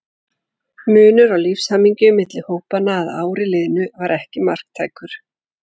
Munur á lífshamingju milli hópanna að ári liðnu var ekki marktækur.